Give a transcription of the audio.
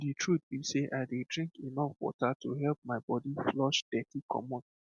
the truth be sey i dey drink enough water to help my body flush dirty commot